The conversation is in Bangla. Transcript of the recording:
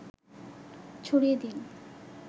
ছড়িয়ে দিন